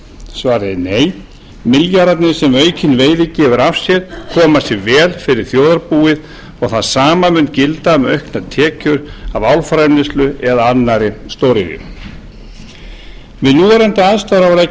svarið er nei milljarðarnir sem aukin veiði gefur af sér koma sér vel fyrir þjóðarbúið og það sama mun gilda um auknar tekjur af álframleiðslu eða annarri stóriðju við núverandi aðstæður á að leggja